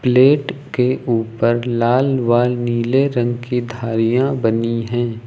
Plate के ऊपर लाल व नीले रंग की धारियां बनी हैं।